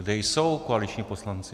Kde jsou koaliční poslanci?